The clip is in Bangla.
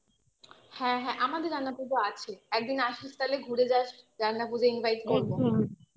হ্যাঁ হ্যাঁ আমাদের রান্না পুজো আছে একদিন আসিস তাহলে ঘুরে যাস রান্না পুজোয় invite করবো